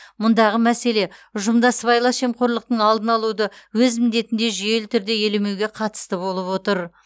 мұндағы мәселе ұжымда сыбайлас жемқорлықтың алдын алуды өз міндетінде жүйелі түрде елемеуге қатысты болып отыр